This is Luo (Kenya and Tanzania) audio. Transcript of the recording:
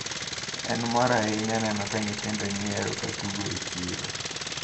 En mor ahinya neno ka nyithindo nyiero ka tugo e chiro.